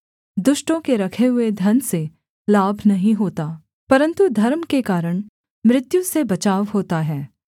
दुष्टों के रखे हुए धन से लाभ नहीं होता परन्तु धर्म के कारण मृत्यु से बचाव होता है